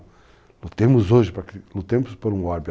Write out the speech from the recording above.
Lutemos hoje, lutemos por um órbita.